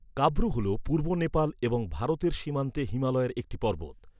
কাব্রু হল পূর্ব নেপাল এবং ভারতের সীমান্তে হিমালয়ের একটি পর্বত।